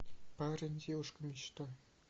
парень девушка мечта